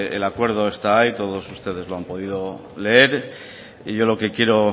el acuerdo está ahí todos ustedes lo han podido leer y lo que quiero